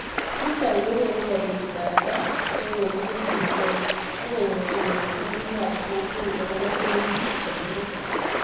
Nito kokonu kobiit data che kokiketchigei akomuchi kong'etyo biikab kokweet akobo tebutik chekerkei